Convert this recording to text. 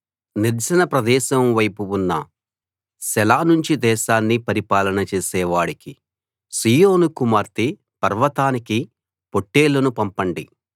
నిర్జన ప్రదేశం వైపు ఉన్న సెల నుంచి దేశాన్ని పరిపాలన చేసే వాడికి సీయోను కుమార్తె పర్వతానికి పొట్టేళ్లను పంపండి